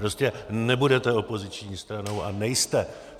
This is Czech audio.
Prostě nebudete opoziční stranou a nejste.